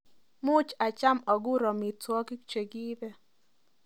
Muuch acham agur amitwogik chekiibe